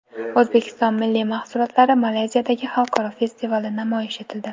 O‘zbekiston milliy mahsulotlari Malayziyadagi xalqaro festivalda namoyish etildi.